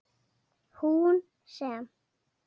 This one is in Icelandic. Hún sem.